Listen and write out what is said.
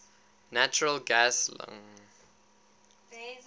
natural gas lng